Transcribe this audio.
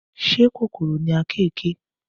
Ṣé kòkòrò ni àkekèé?